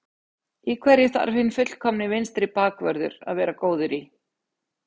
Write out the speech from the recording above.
Í hverju þarf hinn fullkomni vinstri bakvörður að vera góður í?